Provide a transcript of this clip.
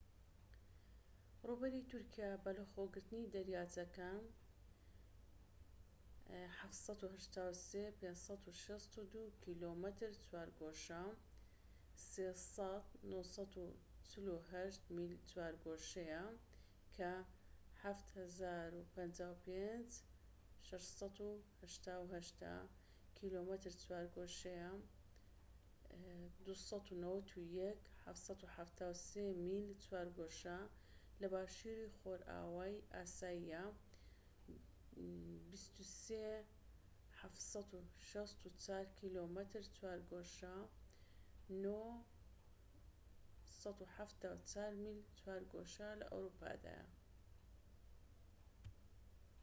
ڕووبەری تورکیا، بەلەخۆگرتنی دەریاچەکان، 783,562 کیلۆمەتر چوارگۆشە 300,948 میل چوارگۆشەیە، کە 755,688 کیلۆمەتر چوارگۆشە 291,773 میل چوارگۆشە لە باشوری خۆرئاوای ئاسیایە و 23,764 کیلۆمەتر چوارگۆشە 9,174 میل چوارگۆشە لە ئەوروپادایە